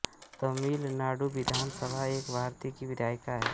तमिलनाडु विधान सभा एक भारत की विधायिका हैं